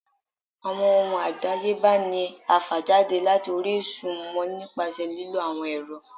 Awọn ohún adáyébá ní a fá jade latí orisun wọn nipasẹ lilo awọn ẹrọ.